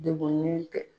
Degunnen tɛ